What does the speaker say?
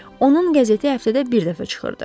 Onun qəzeti həftədə bir dəfə çıxırdı.